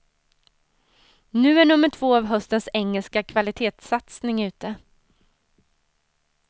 Nu är nummer två av höstens engelska kvalitetssatsning ute.